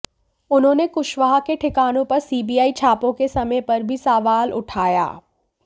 उन्होंने कुशवाहा के ठिकानों पर सीबीआई छापों के समय पर भी सवाल उठाया